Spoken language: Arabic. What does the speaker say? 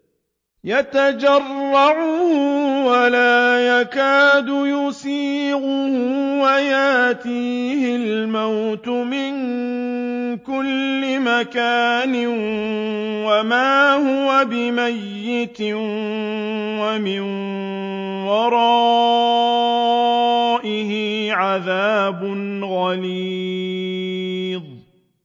يَتَجَرَّعُهُ وَلَا يَكَادُ يُسِيغُهُ وَيَأْتِيهِ الْمَوْتُ مِن كُلِّ مَكَانٍ وَمَا هُوَ بِمَيِّتٍ ۖ وَمِن وَرَائِهِ عَذَابٌ غَلِيظٌ